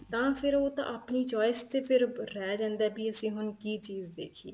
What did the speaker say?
ਤਾਂ ਫ਼ਿਰ ਉਹ ਤਾਂ ਆਪਣੀ choice ਤੇ ਫ਼ਿਰ ਰਹਿ ਜਾਂਦਾ ਏ ਵੀ ਅਸੀਂ ਹੁਣ ਕੀ ਚੀਜ਼ ਦੇਖੀਏ